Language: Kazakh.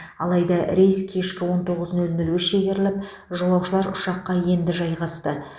алайда рейс кешкі он тоғыз нөл нөлге шегеріліп жолаушылар ұшаққа енді жайғасты